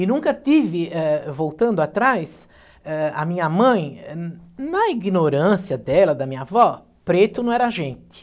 E nunca tive, eh voltando atrás, eh, a minha mãe, na ignorância dela, da minha avó, preto não era gente.